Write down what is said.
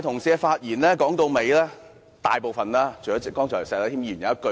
說到底，大部分建制派同事的發言......